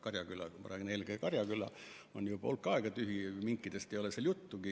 Meie farmidest ma räägin eelkõige Karjakülast, mis on juba hulk aega tühi, minkidest ei ole seal juttugi.